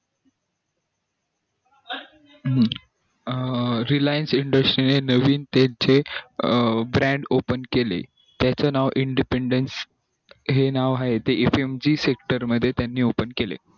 अं reliance industry ने नवीन त्याचे केले brand open केले त्याच नाव independence हे नाव आहे ते येनमःजी sector मध्ये त्यांनी open केले